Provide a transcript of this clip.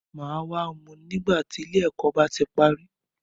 Màá wá mú u nígbà tí ilé ẹ̀kọ́ bá ti parí.